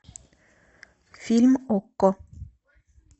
фильм окко